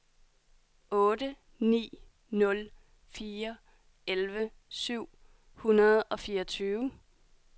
otte ni nul fire elleve syv hundrede og fireogtyve